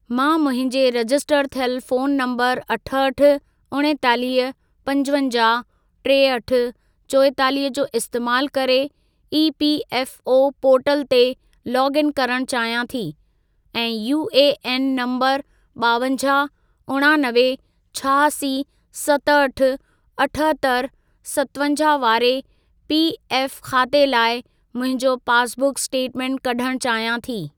मां मुंहिंजे रजिस्टर थियल फोन नंबर अठहठि, उणेतालीह, पंजवंजाहु, टेहठि, चोएतालीह जो इस्तेमालु करे ईपीएफओ पोर्टल ते लोग इन करण चाहियां थी ऐं यूएएन नंबर ॿावंजाहु, उणानवे, छहासी, सतहठि, अठहतरि, सतवंजाहु वारे पीएफ खाते लाइ मुंहिंजो पासबुक स्टेटमेंट कढण चाहियां थी।